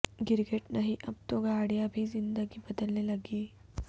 گرگٹ نہیں اب تو گاڑیاں بھی رنگ بدلنے لگیں